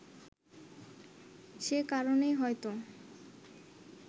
সে কারণেই হয়তো